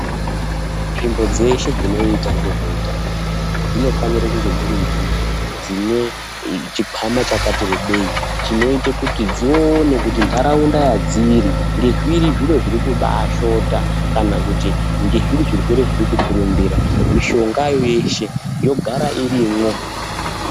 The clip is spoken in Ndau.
Nzvimbo dzeshe dzinoita ngezveutano dzinofanire kunge dziri nzvimbo dzine chikwama chakati rebei. Chinoite kuti dzione kuti ntaraunda yadziri ngezviri zviro zviri kubaashota kana kuti ngezviri zvirwere zviri kukurumbira ,mishongayo yeshe yogara irimwo.